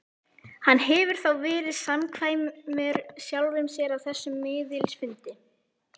Hann hefur þá verið samkvæmur sjálfum sér á þessum miðilsfundi.